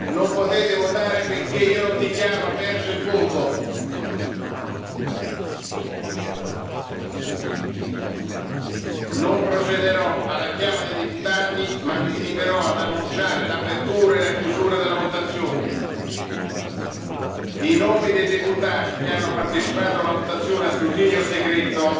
da U a Z Non potete votare finché non dichiarerò aperto il voto. Non procederò alla chiama dei deputati ma mi limiterò ad annunciare l'apertura e la chiusura della votazione. I nomi dei deputati che hanno partecipato a una votazione a scrutinio